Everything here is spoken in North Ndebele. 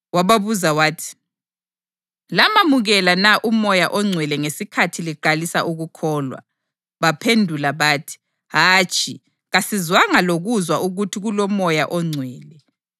wababuza wathi, “Lamamukela na uMoya oNgcwele ngesikhathi liqalisa ukukholwa?” Baphendula bathi, “Hatshi, kasizwanga lokuzwa ukuthi kuloMoya oNgcwele.”